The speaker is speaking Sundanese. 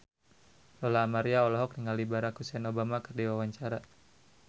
Lola Amaria olohok ningali Barack Hussein Obama keur diwawancara